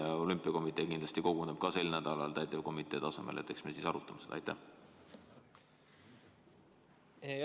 Ka olümpiakomitee kindlasti koguneb sel nädalal täitevkomitee tasemel ja seal me arutame ka seda.